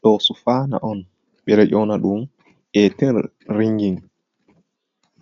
Ɗo sufaina on ɓeɗo ɗyona ɗum eten ringin